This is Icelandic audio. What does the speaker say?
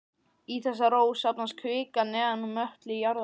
Í þessa þró safnast kvika neðan úr möttli jarðar.